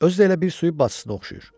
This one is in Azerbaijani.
Özü də elə bir su yuvasına oxşayır.